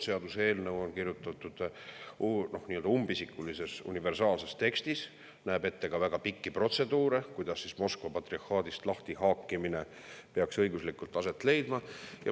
Seaduseelnõu on kirjutatud nii-öelda umbisikulise universaalse tekstina ja näeb ette ka väga pikki protseduure, kuidas Moskva patriarhaadist lahtihaakimine peaks õiguslikult aset leidma.